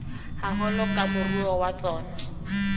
haholo ke moruo wa tsona